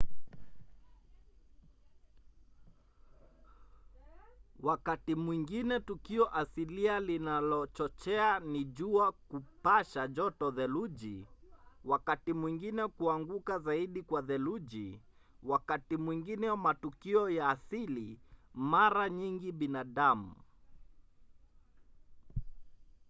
wakati mwingine tukio asilia linalochochea ni jua kupasha joto theluji wakati mwingine kuanguka zaidi kwa theluji wakati mwingine matukio ya asili mara nyingi binadamu